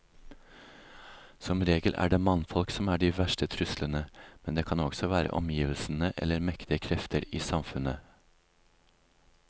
Som regel er det mannfolk som er de verste truslene, men det kan også være omgivelsene eller mektige krefter i samfunnet.